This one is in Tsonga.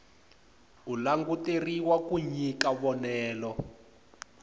u languteriwa ku nyika vonelo